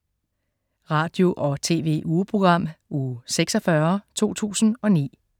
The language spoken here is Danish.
Radio- og TV-ugeprogram Uge 46, 2009